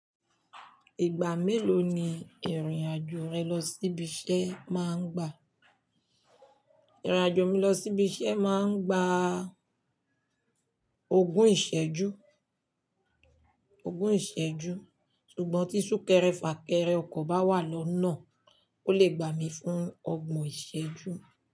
Ìgbà mélòó ni ìrìn-àjò rẹ lọ sí ibi iṣẹ́ máa ń gbà? Ìrìn-àjò mi lọ sí ibi iṣẹ́ máa ń gba ogún ìṣẹ́jú ogún ìṣẹ́jú ṣùgbọ́n tí sún-kẹrẹ-fà-kẹrẹ ọkọ̀ bá wà lọ́nà, ó lè gbà mí fún ogbọ̀n ìṣẹ́jú.